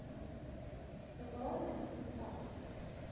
bewaar indien sars